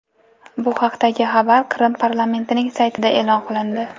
Bu haqdagi xabar Qrim parlamentining saytida e’lon qilindi .